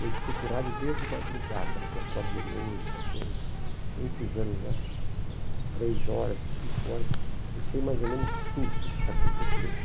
Eu escuto o rádio desde madrugada, porque eu acordo de noite essa coisa, muitos anos já, três horas, cinco horas, eu sei mais ou menos tudo o que está acontecendo.